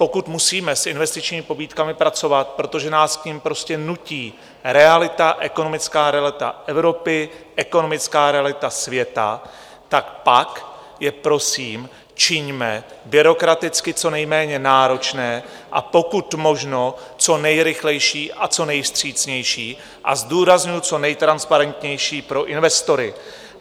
Pokud musíme s investičními pobídkami pracovat, protože nás k nim prostě nutí realita, ekonomická realita Evropy, ekonomická realita světa, tak pak je, prosím, čiňme byrokraticky co nejméně náročné, a pokud možno co nejrychlejší a co nejvstřícnější, a zdůrazňuju, co nejtransparentnější pro investory.